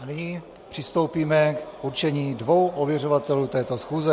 A nyní přistoupíme k určení dvou ověřovatelů této schůze.